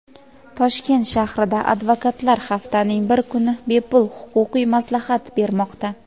Toshkent shahrida advokatlar haftaning bir kuni bepul huquqiy maslahat bermoqda.